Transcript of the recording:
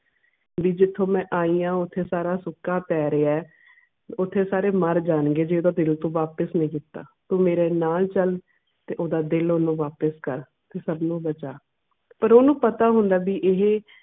B ਜਿਥੋਂ ਮੈਂ ਆਈਂ ਆ ਉੱਠੇ ਸਾਰਾ ਸੁੱਕਾ ਪੈ ਰਿਹਾ ਆ ਓਥੇ ਸਾਰੇ ਮਰ ਜਾਣ ਗੇ ਜੇ ਓਹਦਾ ਦਿਲ ਤੂੰ ਵਾਪਿਸ ਨਾ ਕਿੱਤਾ ਤੂੰ ਮੇਰੇ ਨਾਲ ਚਲ ਤੇ ਓਹਦਾ ਦਿਲ ਓਹਨੂੰ ਵਾਪਿਸ ਕਰ ਤੇ ਸਬ ਨੂੰ ਬਚਾ ਤੇ ਓਹਨੂੰ ਪਤਾ ਹੁੰਦਾ ਆ ਬੀ ਏਹੇ